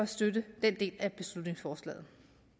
støtte den del af beslutningsforslaget